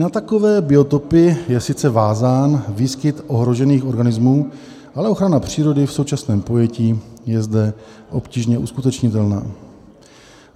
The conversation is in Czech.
Na takové biotopy je sice vázán výskyt ohrožených organismů, ale ochrana přírody v současném pojetí je zde obtížně uskutečnitelná.